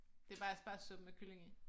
Det bare aspargessuppe med kylling i